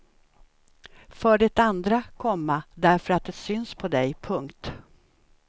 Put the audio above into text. För det andra, komma därför att det syns på dig. punkt